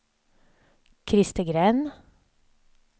Christer Gren